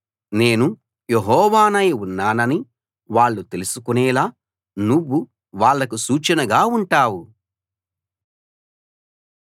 నేను యెహోవానై ఉన్నానని వాళ్ళు తెలుసుకునేలా నువ్వు వాళ్లకు సూచనగా ఉంటావు